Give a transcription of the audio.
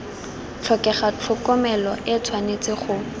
tlhokega tlhokomelo e tshwanetse go